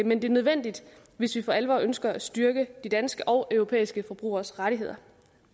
men det er nødvendigt hvis vi for alvor ønsker at styrke de danske og europæiske forbrugeres rettigheder